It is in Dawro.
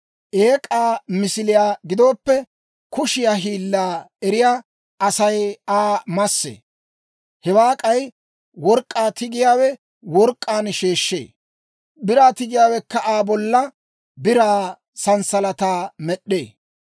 Eek'aa misiliyaa gidooppe, kushiyaa hiillaa eriyaa Asay Aa massee; hewaa k'ay work'k'aa tigiyaawe work'k'aan sheeshshee; biraa tigiyaawekka Aa bolla biraa sanssalataa med'd'ee.